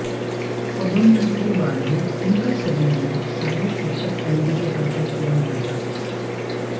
पदोन्नति के बाद भी इनका संविलियन सहायक शिक्षक एलबी के पद पर किया गया था